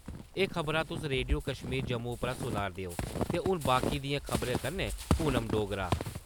ए खबरां तुस रेडियो कश्मीर जम्मू उप्परा सुना`रदे ओ ते हुन बाकी दियें खबरें कन्नै पूनम डोगरा;